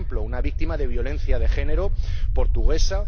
Por ejemplo, una víctima de violencia de género, portuguesa,